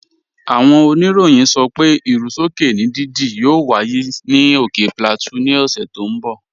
Áwọn ònìrọ̀yìn sọ pé irú sọkè ni dídí yóò wáyé ni ókè Plateau ni òṣè tó n bọ̀.